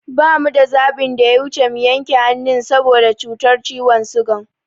Ba mu da zaɓin da ya wuci mu yanke hannun sa boda cutar ciwon sigan